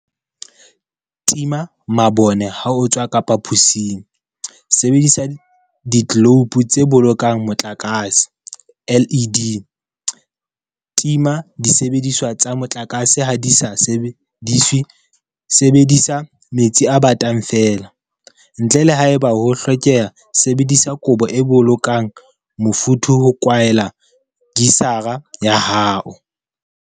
Tima mabone ha o tswa ka phaposing sebedisa ditleloupo tse bolokang motlakase LED. Tima disebediswa tsa motlakase ha di sa sebediswe Sebedisa metsi a batang feela, ntle le haeba ho hlokeha Sebedisa kobo e bolokang mofuthu ho kwaela kisara ya hao.